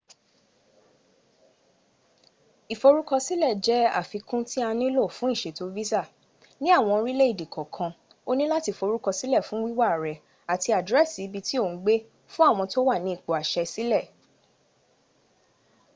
ìforúkọsílẹ̀ jẹ́ àfikún tí a nílò fún ìṣètò visa. ní àwọn orílẹ̀ èdè kànkan o ní láti forúkọsílẹ̀ fún wíwá rẹ àti àdírẹ́sì ibi tí ò ń gbé fún àwọn tó wà ní ipò àṣẹ sílẹ̀